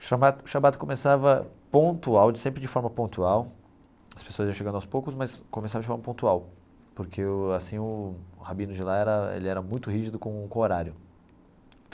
Shabbat shabbat começava pontual, de sempre de forma pontual, as pessoas já chegando aos poucos, mas começava de forma pontual, porque o assim o o rabino de lá era ele era muito rígido com o com o horário.